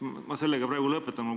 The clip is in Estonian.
Ma sellega praegu lõpetan.